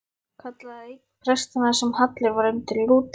kallaði einn prestanna sem hallur var undir Lúter.